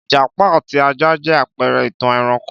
Ìjàpá àti ajá jẹ́ àpẹrẹ ìtàn ẹranko